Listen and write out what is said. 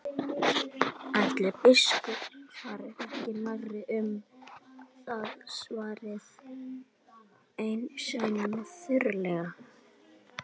Ætli biskup fari ekki nærri um það, svaraði einn sveinanna þurrlega.